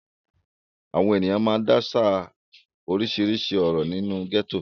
Àwọn ènìyàn máa ń dáṣà oríṣiríṣi ọ̀rọ̀ nínú gẹ́tò.